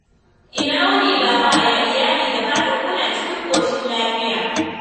Ina wuni baba? Yaya iyali? Da fatan kuna cikin ƙoshin lafiya.